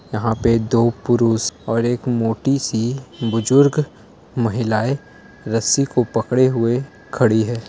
यहा पे दो पुरुष और एक मोटी सी बुजुर्ग महिलाए रस्सी को पकड़े हुए खड़ी है।